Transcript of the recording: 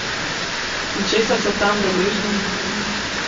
In česa so tam deležni?